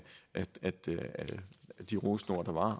de rosende ord der var